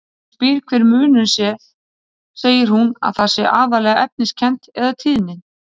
Þegar ég spyr hver munurinn sé segir hún að það sé aðallega efniskennt- eða tíðnin.